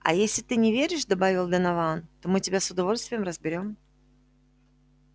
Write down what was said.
а если ты не веришь добавил донован то мы тебя с удовольствием разберём